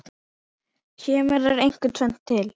Kemur þar einkum tvennt til.